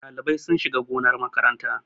Ɗalibai sun shiga gonar makaranta